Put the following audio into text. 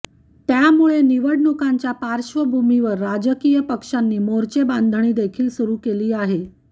त्यामुळे निवडणुकांच्या पार्श्वभूमिवर राजकीय पक्षांनी मोर्चेबांधणी देखील सुरु केली आहे